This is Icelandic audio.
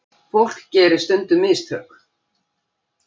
Fólk gerir stundum mistök.